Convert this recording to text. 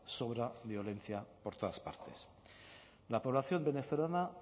sobra violencia por todas partes la población venezolana